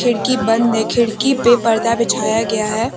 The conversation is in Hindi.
खिड़की बंद है खिड़की पे पर्दा बिछाया गया है।